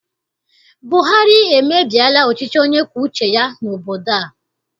Buhari emebiela ọchịchị onye kwue uche ya n'obodo a.